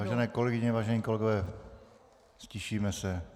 Vážené kolegyně, vážení kolegové, ztišíme se.